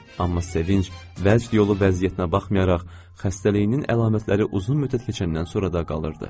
Amma sevinc, vəcd yolu vəziyyətinə baxmayaraq, xəstəliyinin əlamətləri uzun müddət keçəndən sonra da qalırdı.